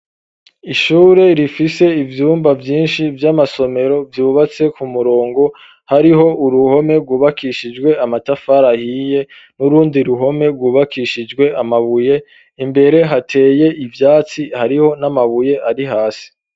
Ishure rifise ivyumba vyishi vy'amasomero vyubatse ku murongo hariho uruhome rwubakishijwe amatafari ahiye n'urundi ruhome rwubakishijwe amabuye imbere hateye ivyatsi hariho n'amabuye ari hasi.